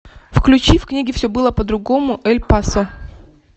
включи в книге все было по другому эль пасо